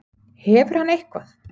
Hefur hann eitthvað.